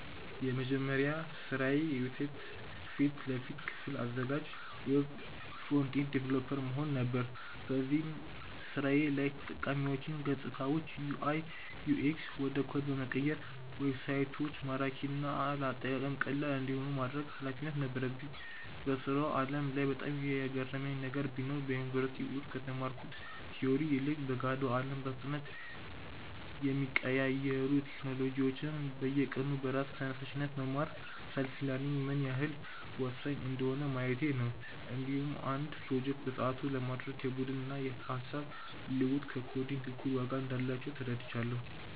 የመጀመሪያ ስራዬ የዌብሳይት ፊት ለፊት ክፍል አዘጋጅ (Web Front-End Developer) መሆን ነበር። በዚህ ስራዬ ላይ የተጠቃሚዎችን ገፅታዎች (UI/UX) ወደ ኮድ በመቀየር ዌብሳይቶች ማራኪና ለአጠቃቀም ቀላል እንዲሆኑ የማድረግ ኃላፊነት ነበረኝ። በስራው ዓለም ላይ በጣም የገረመኝ ነገር ቢኖር፣ በዩኒቨርሲቲ ውስጥ ከተማርኩት ቲዎሪ ይልቅ በገሃዱ አለም በፍጥነት የሚቀያየሩ ቴክኖሎጂዎችን በየቀኑ በራስ ተነሳሽነት መማር (Self-learning) ምን ያህል ወሳኝ እንደሆነ ማየቴ ነው። እንዲሁም አንድን ፕሮጀክት በሰዓቱ ለማድረስ የቡድን ስራና የሃሳብ ልውውጥ ከኮዲንግ እኩል ዋጋ እንዳላቸው ተረድቻለሁ።